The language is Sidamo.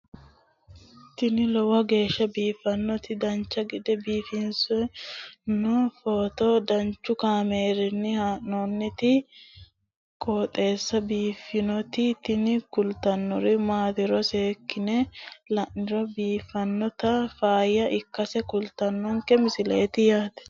tini lowo geeshsha biiffannoti dancha gede biiffanno footo danchu kaameerinni haa'noonniti qooxeessa biiffannoti tini kultannori maatiro seekkine la'niro biiffannota faayya ikkase kultannoke misileeti yaate